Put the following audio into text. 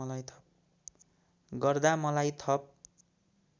गर्दा मलाई थप